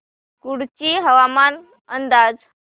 कुडची हवामान अंदाज